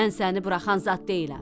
Mən səni buraxan zad deyiləm.